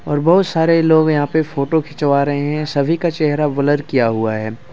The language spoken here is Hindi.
और बहुत सारे लोग यहां पे फोटो खिंचवा रहा हैं सभी का चेहरा ब्लर किया हुआ हैं।